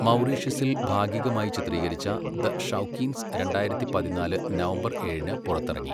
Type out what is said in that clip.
മൗറീഷ്യസിൽ ഭാഗികമായി ചിത്രീകരിച്ച ദ ഷൗക്കീൻസ് രണ്ടായിരത്തി പതിനാല് നവംബർ ഏഴിന് പുറത്തിറങ്ങി.